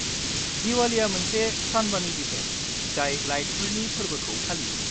दिवालीया मोनसे सानबानि इभेन्ट जाय लाइटफोरनि फोरबोखौ फालियो।